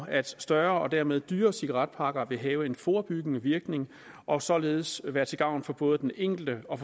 at større og dermed dyrere cigaretpakker vil have en forebyggende virkning og således være til gavn for både den enkelte og